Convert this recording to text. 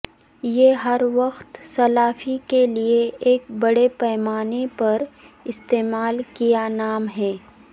یہ ہر وقت سلافی کے لئے ایک بڑے پیمانے پر استعمال کیا نام ہے